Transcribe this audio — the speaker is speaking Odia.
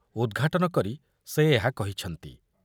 ଉଦ୍‌ଘାଟନ କରି ସେ ଏହା କହିଛନ୍ତି।